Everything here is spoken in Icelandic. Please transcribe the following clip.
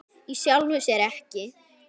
Í sjálfu sér ekki.